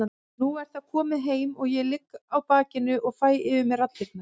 Nú er það komið heim og ég ligg á bakinu og fæ yfir mig raddirnar.